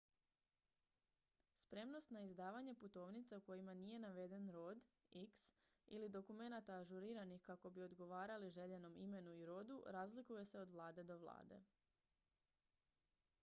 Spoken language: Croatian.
spremnost na izdavanje putovnica u kojima nije naveden rod x ili dokumenata ažuriranih kako bi odgovarali željenom imenu i rodu razlikuje se od vlade do vlade